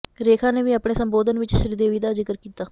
ਰੇਖਾ ਨੇ ਵੀ ਆਪਣੇ ਸੰਬੋਧਨ ਵਿਚ ਸ਼੍ਰੀਦੇਵੀ ਦਾ ਜ਼ਿਕਰ ਕੀਤਾ